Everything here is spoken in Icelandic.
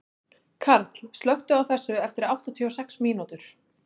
Karl, slökktu á þessu eftir áttatíu og sex mínútur.